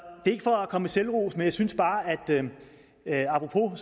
ikke for at komme med selvros men jeg synes bare apropos